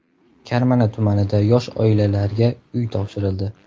Karmana tumanida yosh oilalarga uy topshirildi.